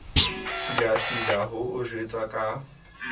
tsilatsila ho o jwetsa ka